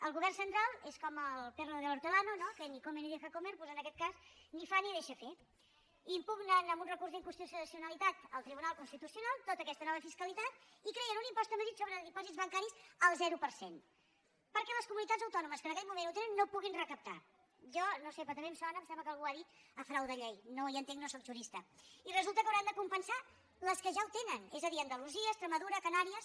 el govern central és com el perro del hortelanomer doncs en aquest cas ni fa ni deixa fer impugnen amb un recurs d’inconstitucionalitat al tribunal constitucional tota aquesta nova fiscalitat i creen un impost a madrid sobre dipòsits bancaris al zero per cent perquè les comunitats autònomes que en aquell moment ho tenen no ho puguin recaptar jo no ho sé però també em sona em sembla que algú ho ha dit a frau de llei no hi entenc no sóc jurista i resulta que hauran de compensar les que ja ho tenen és a dir andalusia extremadura canàries